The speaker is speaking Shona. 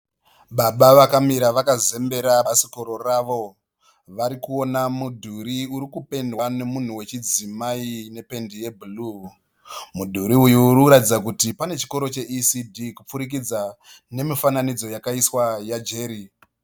Baba vakamira vakazembera bhasikoro ravo. Varikuona mudhuri uri kupendwa nemunhu wechidzimai nependi yebhuruu. Mudhuri uyu uri kuratidza kuti pane chikoro che ECD kupfurikidza nemifananidza yakaiswa ya Jerry.